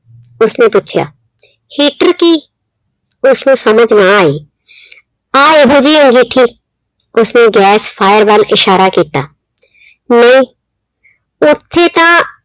ਉਸਨੇ ਪੁੱਛਿਆ heater ਕੀ? ਉਸਨੂੰ ਸਮਝ ਨਾ ਆਈ ਹਾਂ ਉਹੋ ਅੰਗੀਠੀ ਉਸਨੇ gas fire ਵੱਲ ਇਸ਼ਾਰਾ ਕੀਤਾ, ਨਹੀਂ ਉੱਥੇ ਤਾਂ